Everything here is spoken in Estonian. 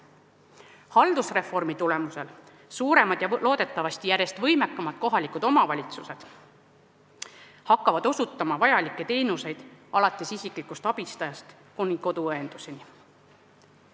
Haldusreformi tulemusel suuremad ja loodetavasti järjest võimekamad kohalikud omavalitsused hakkavad osutama vajalikke teenuseid alates isiklikust abistajast kuni koduõenduseni.